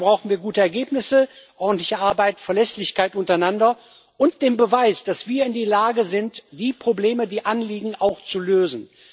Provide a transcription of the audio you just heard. Dafür brauchen wir gute Ergebnisse, ordentliche Arbeit, Verlässlichkeit untereinander und den Beweis, dass wir in der Lage sind, die Probleme, die Anliegen auch zu lösen.